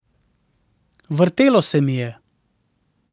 Vrtelo se mi je.